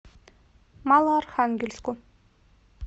малоархангельску